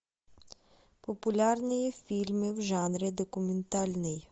популярные фильмы в жанре документальный